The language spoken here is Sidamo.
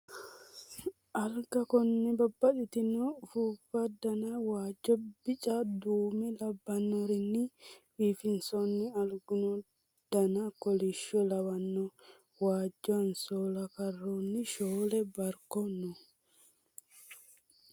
Alga konne babbaxitino ufuuffa Dana waajjo bica duume labbanorini biifinsoonni alguno dana kolisho lawano waajjo hansoola karroonni shoole barkono no